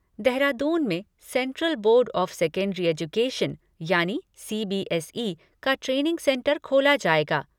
देहरादून में central board of secondary education यानि CBSE का ट्रेनिंग सेंटर खोला जाएगा।